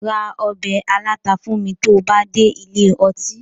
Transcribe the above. Ra ọbẹ̀ aláta fún mi tó bá dé ilé ọtí